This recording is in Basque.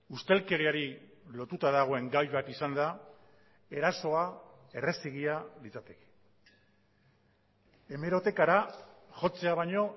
ustelkeriari lotuta dagoen gai bat izanda erasoa errazegia litzateke hemerotekara jotzea baino